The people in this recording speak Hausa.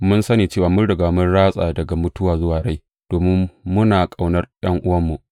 Mun san cewa mun riga mun ratsa daga mutuwa zuwa rai, domin muna ƙaunar ’yan’uwanmu.